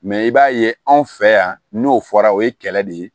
Mɛ i b'a ye anw fɛ yan n'o fɔra o ye kɛlɛ de ye